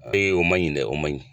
o man ɲi dɛ o man ɲi.